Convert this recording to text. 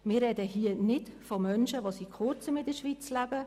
Wir sprechen hier nicht von Menschen, die seit kurzem in der Schweiz leben.